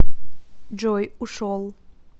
джой ушел